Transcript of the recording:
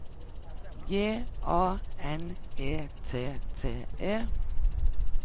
J A N E T T E